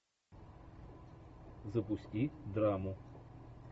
запусти драму